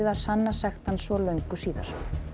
sanna sekt hans svo löngu síðar